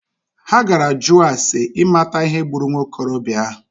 Ha gara jụọ ase imata ihe gburu nwokorobịa ahụ.